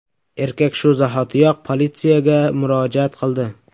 Erkak shu zahotiyoq politsiyaga murojaat qildi.